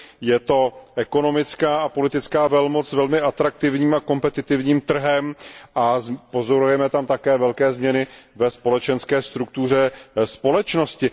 Je to ekonomická a politická velmoc s velmi atraktivním a kompetitivním trhem a pozorujeme tam také velké změny ve společenské struktuře společnosti.